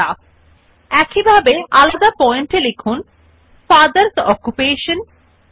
তাই আমরা হিসাবে পর দ্বিতীয় বিবৃতি type so we type the second statement in the resume as father's name colon Mahesh